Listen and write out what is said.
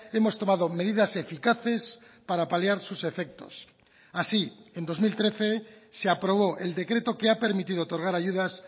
hemos tomado medidas eficaces para paliar sus efectos así en dos mil trece se aprobó el decreto que ha permitido otorgar ayudas